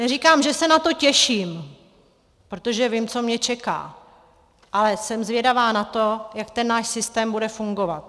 Neříkám, že se na to těším, protože vím, co mě čeká, ale jsem zvědavá na to, jak ten náš systém bude fungovat.